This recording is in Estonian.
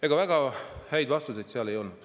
Ega väga häid vastuseid sealt ei saanud.